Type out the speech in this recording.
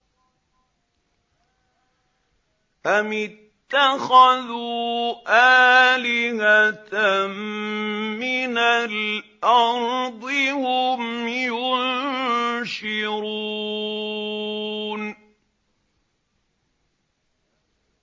أَمِ اتَّخَذُوا آلِهَةً مِّنَ الْأَرْضِ هُمْ يُنشِرُونَ